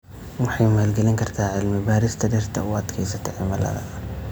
Waxay maalgelin kartaa cilmi-baarista dhirta u adkaysata cimilada.